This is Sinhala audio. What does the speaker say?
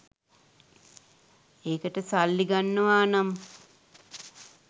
ඒකට සල්ලි ගන්නවා නම්